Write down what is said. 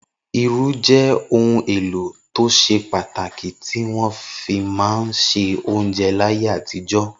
Irú jẹ́ ohun-èlò tó ṣe pàtàkì tí wọ́n fi máa ń se oúnjẹ láyé àtijọ́.